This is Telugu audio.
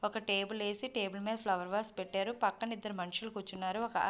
ఒక టేబుల్ వేసి టేబుల్ మీద ఫ్లవర్ వేజ్ పెట్టారు. పక్కన ఇద్దరు మనుషులు కూర్చున్నారు ఒక ఆ --